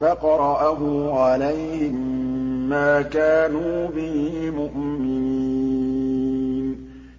فَقَرَأَهُ عَلَيْهِم مَّا كَانُوا بِهِ مُؤْمِنِينَ